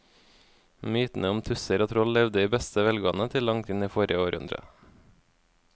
Mytene om tusser og troll levde i beste velgående til langt inn i forrige århundre.